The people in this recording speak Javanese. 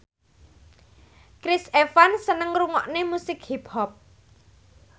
Chris Evans seneng ngrungokne musik hip hop